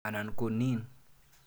Anan ko nin.